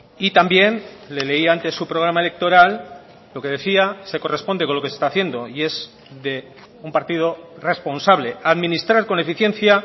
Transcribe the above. y también le leía antes su programa electoral lo que decía se corresponde con lo que se está haciendo y es de un partido responsable administrar con eficiencia